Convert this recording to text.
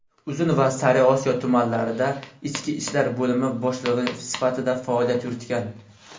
Uzun va Sariosiyo tumanlarida ichki ishlar bo‘limi boshlig‘i sifatida faoliyat yuritgan.